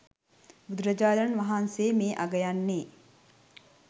බුදුරජාණන් වහන්සේ මේ අගයන්නේ